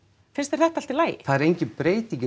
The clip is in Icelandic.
finnst þér þetta allt í lagi það er enginn breyting í